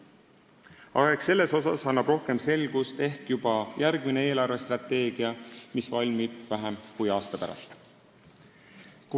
Aga eks selles annab rohkem selgust juba järgmine eelarvestrateegia, mis valmib vähem kui aasta pärast.